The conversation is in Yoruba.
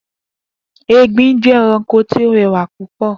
Egbin jẹ́ ẹranko tí ó rẹwà púpọ̀